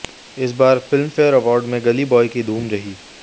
इस बार Filmfare award में गली बॉय की धूम रही